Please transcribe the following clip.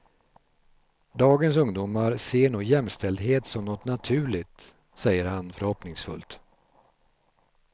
Dagens ungdomar ser nog jämställdhet som något naturligt, säger han förhoppningsfullt.